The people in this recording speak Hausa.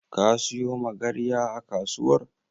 Ka siyo Magarya a kasuwar?